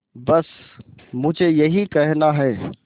बस मुझे यही कहना है